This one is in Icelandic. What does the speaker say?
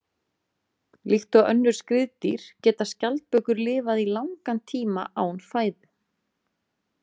Líkt og önnur skriðdýr geta skjaldbökur lifað í langan tíma án fæðu.